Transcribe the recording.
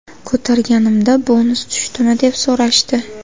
Ko‘targanimda ‘bonus tushdimi?’ deb so‘rashdi.